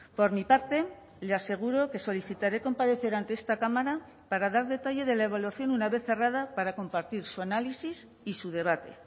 por mi parte le aseguro que solicitaré comparecer ante esta cámara para dar detalle de la evaluación una vez cerrada para compartir su análisis y su debate